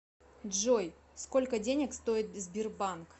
джой сколько денег стоит сбербанк